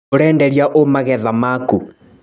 ũrenderia ũ magetha maku.